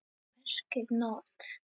merkir NOT.